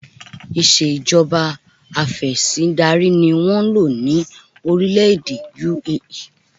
Ìṣèjọba afẹ̀sìndarí ni wọ́n ń lò ní orílẹ̀-èdè UAE